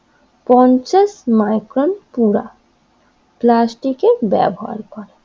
পঞ্চাশ মাইক্রোন পুরা প্লাস্টিকের ব্যবহার করা।